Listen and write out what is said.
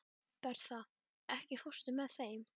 Bertha, ekki fórstu með þeim?